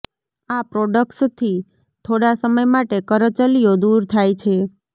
આ પ્રોડક્ટ્સથી થોડા સમય માટે કરચલીઓ દૂર થાય છે